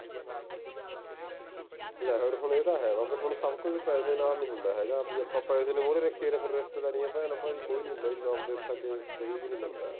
ਲੈ ਫੇਰ ਆਹਾ ਹੁਣ ਹੈਂ ਬਾਬੇ ਹੁਣ ਸਭ ਕੁਝ ਪੈਸੇ ਨਾਲ ਨਹੀਂ ਨਹੀਂ ਹੁੰਦਾ ਹੈਗਾ ਬਈ ਆਪਾਂ ਪੈਸੇ ਨੂੰ ਮੂਰੇ ਰੱਖੀ ਏ ਫੇਰ ਰਿਸ਼ਤੇਦਾਰੀਆਂ ਭੈਣ-ਭਾਈ ਕੋਈ ਨਹੀਂ ਹੁੰਦਾ ਜਿਵੇਂ ਆਪ ਦੇ ਸਕੇ ਕੋਈ ਨਹੀਂ ਬਣਦਾ